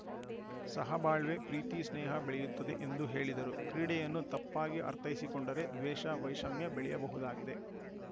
ಸಹಬಾಳ್ವೆ ಪ್ರೀತಿ ಸ್ನೇಹ ಬೆಳೆಯುತ್ತದೆ ಎಂದು ಹೇಳಿದರು ಕ್ರೀಡೆಯನ್ನು ತಪ್ಪಾಗಿ ಅರ್ಥೈಸಿಕೊಂಡರೆ ದ್ವೇಷ ವೈಷಮ್ಯ ಬೆಳೆಯಬಹುದಾಗಿದೆ